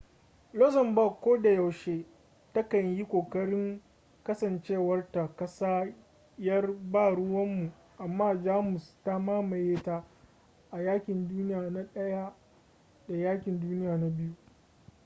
luxembourg kodayaushe ta kan yi kokarin kasancewarta ƙasa 'yar ba-ruwanmu amma jamus ta mamaye ta a yaƙin duniya na ɗaya da yaƙin duniya na biyu